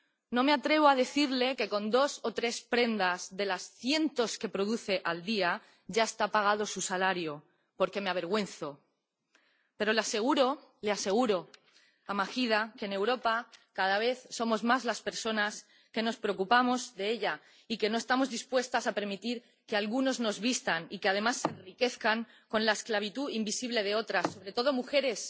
No me atrevo a decirle que con dos o tres prendas de los cientos que produce al día ya está pagado su salario, porque me avergüenzo. Pero le aseguro, le aseguro a Mahida que, en Europa, cada vez somos más las personas que nos preocupamos por ella y que no estamos dispuestas a permitir que algunos nos vistan, y que además se enriquezcan, con la esclavitud invisible de otras, sobre todo mujeres